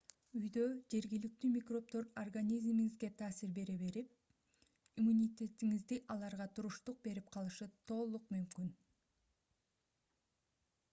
үйдө жергиликтүү микробдор организмиңизге таасир бере берип иммунитетиңиз аларга туруштук берип калышы толук мүмкүн